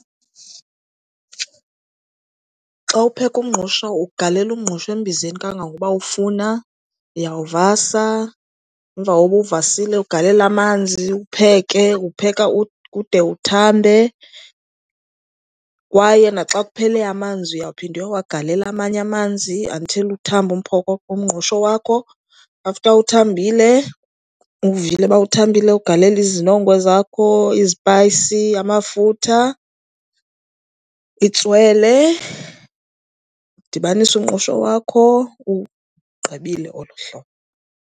Xa upheka umngqusho ugalela umngqusho embizeni kangangoba ufuna. Uyawuvasa, emva koba uwuvasile ugalele amanzi uwupheke. Uwupheka ude uthambe kwaye naxa kuphele amanzi uyaphinda uyowagalela amanye amanzi until uthambe umngqusho wakho. After uthambile uwuvile uba uthambile ugalele izinongo zakho, izipayisi, amafutha, itswele, udibanise umngqusho wakho. Uwugqibile olo hlobo.